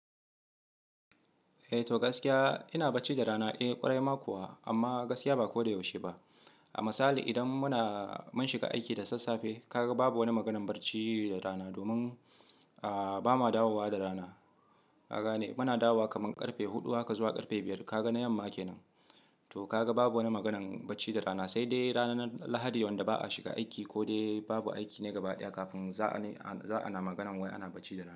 Eh to gaskiya ina bacci da rana eh ƙwarai ma kuwa amma gaskiya ba ko da yaushe ba. A misali idan muna mun shiga aiki da sassafe kaga babu wani maganan bacci da rana domin ahhh ba ma dawowa da rana. Kagane muna dawa kamar karfe huɗu haka zuwa karfe biyar kaga yamma ake nan. To kaga babu wani maganan bacci da rana sai dai ranar Lahadi wanda ba a shiga aiki ko dai babu aiki na gaba ɗaya kafin za'a ne za'a na maganan wai ana bacci da rana.